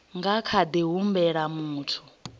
nga kha ḓi humbela muthu